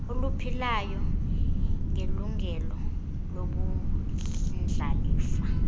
oluphilayo ngelungelo lobundlalifa